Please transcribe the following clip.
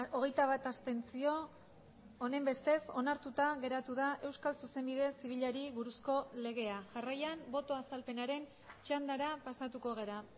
hogeita bat abstentzio honenbestez onartuta geratu da euskal zuzenbide zibilari buruzko legea jarraian boto azalpenaren txandara pasatuko gara